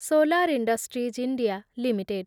solar industries India limited